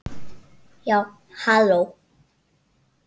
Já, halló!